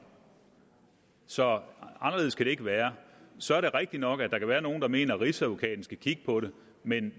så anderledes kan det ikke være så er det rigtigt nok at der kan være nogle der mener at rigsadvokaten skal kigge på det men